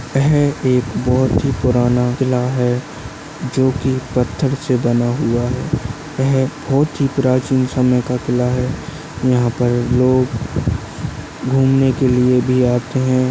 यह एक बहुत ही पुराना किल्ला है जो की पत्थर से बना हुआ है यह बहुत ही प्राचीन समाय का किल्ला है यहा पर लोग घूमने के लिए भी आते है।